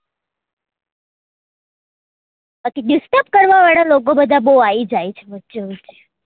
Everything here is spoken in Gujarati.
બાકી disturb કરવા વાળા લોકો બધા બઉ આયી જાય છે વચ્ચે વચ્ચે